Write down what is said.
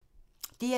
DR1